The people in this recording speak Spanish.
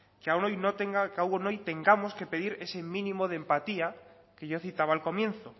que aún hoy tengamos que pedir ese mínimo de empatía que yo citaba al comienzo